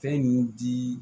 Fɛn in di